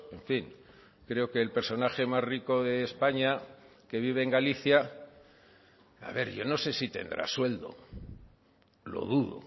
en fin creo que el personaje más rico de españa que vive en galicia a ver yo no sé si tendrá sueldo lo dudo